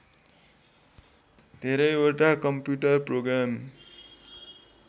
धेरैवटा computer programme